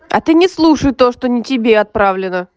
а ты не слушай то что не тебе отправлю